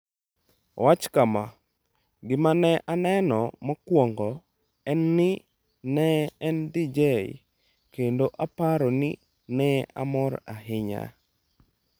Owacho kama: “Gima ne aneno mokwongo en ni ne en DJ kendo aparo ni ne amor ahinya.”